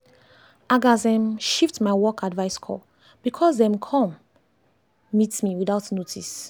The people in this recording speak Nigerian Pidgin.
i gatz um shift my work advice call because dem come dem come meet me without notice.